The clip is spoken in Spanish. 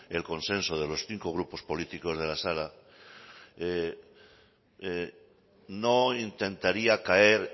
el consenso de los cinco grupos políticos de la sala no intentaría caer